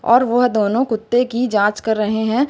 और वह दोनों कुत्ते की जांच कर रहे हैं।